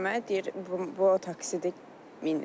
Deyirəm, deyir bu o taksidir.